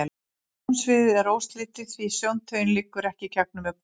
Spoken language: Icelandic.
Sjónsviðið er óslitið, því sjóntaugin liggur ekki gegnum augnbotninn.